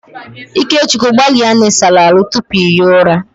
Ikechukwu gbalia na ị sara ahụ tupu ị hie ụra!